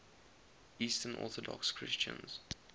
eastern orthodox christians